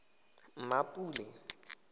mmapule